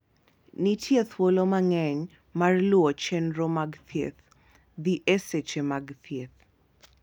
Nitie thuolo mang'eny mar luwo chenro mag thieth, dhi e seche mag thieth,